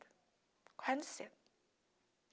Correr no centro.